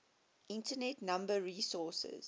internet number resources